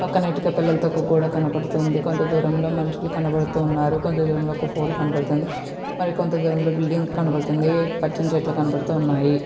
పక్కన ఇటుకపిల్లతో గోడ కనబడుతుంది కొంత దూరంలో మనుషులు కనబడుతున్నారు కొంత దూరంలో ఒక పోల్ కనబడుతుంది మరి కొంత దూరంలో బిల్డింగ్ కనబడుతుంది పచ్చని చెట్లు కన్నబడుతున్నాయి.